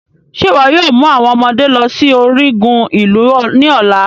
Ṣe iwọ yoo mu awọn ọmọde lọ si origun ilu ni ọla?